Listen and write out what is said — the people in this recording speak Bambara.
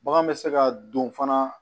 Bagan bɛ se ka don fana